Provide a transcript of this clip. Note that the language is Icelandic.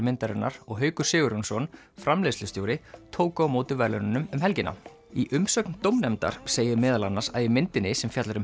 myndarinnar og Haukur Sigurjónsson framleiðslustjóri tóku á móti verðlaununum um helgina í umsögn dómnefndar segir meðal annars að í myndinni sem fjallar um